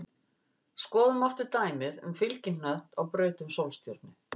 Skoðum aftur dæmið um fylgihnött á braut um sólstjörnu.